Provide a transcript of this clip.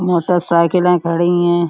मोटरसाइकिलें खड़ी हैं।